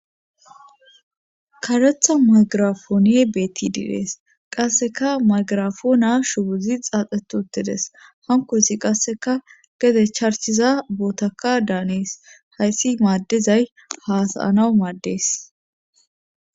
Karetha magirafoone beetti diirees qasseka maygirafoona shubuzi xaaxetutides hankosi qasseka gede charchiza bootaka daanees hayssi maaddizay haasayanau maaddees